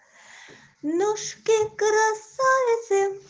ножки красавицы